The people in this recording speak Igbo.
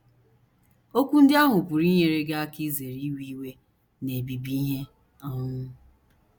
Okwu ndị ahụ pụrụ inyere gị aka izere iwe iwe na - ebibi ihe um.